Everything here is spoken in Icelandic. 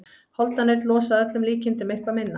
Holdanaut losa að öllum líkindum eitthvað minna.